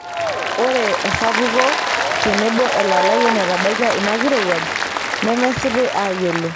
Ore esapuko tebo elalai enetabaikia inakirowuaj nemesipi aayiolo.